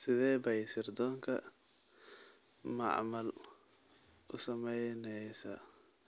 Sidee bay sirdoonka macmal u saamaynaysaa